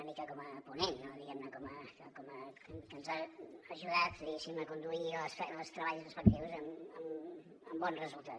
una mica com a ponent no diguem ne que ens ha ajudat diguéssim a conduir els treballs respectius amb bon resultat